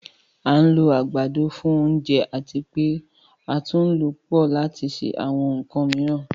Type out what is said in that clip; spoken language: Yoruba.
À n lò agbádọ̀ fún ọ̀ǹjẹ̀ àti pe̩ àtún ǹ lọ pọ̀ lati ṣe àwọn ǹkàn miiran